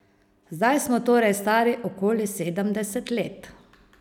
Zdaj smo torej stari okoli sedemdeset let.